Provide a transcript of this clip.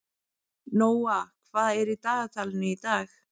Nóa, hvað er í dagatalinu í dag?